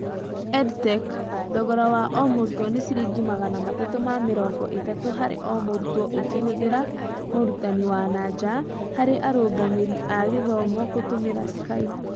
EdTech: Thogora wa o mũrutwo nĩ ciringi magana matatu ma mĩrongo ĩtatu harĩ o mũrutwo ũkĩhũthĩra mũrũtani wa naja harĩ arũngamĩri a gĩthomo gũtũmĩra Skype